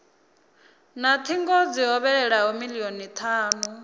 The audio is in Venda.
na thingo dzi hovhelelaho milioni thanu